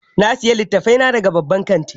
Na sayi litattafai na daga babban kanti